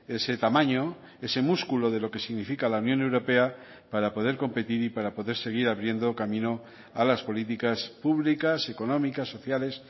ese tamaño ese musculo de lo que significa la unión europea para poder competir y para poder seguir abriendo camino a las políticas públicas económicas sociales